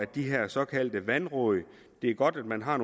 de her såkaldte vandråd det er godt at man har